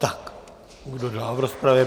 Tak, kdo dál v rozpravě?